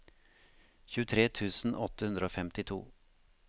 tjuetre tusen åtte hundre og femtito